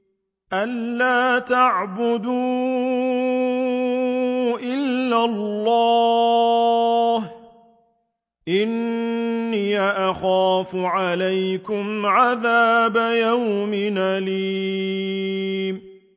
أَن لَّا تَعْبُدُوا إِلَّا اللَّهَ ۖ إِنِّي أَخَافُ عَلَيْكُمْ عَذَابَ يَوْمٍ أَلِيمٍ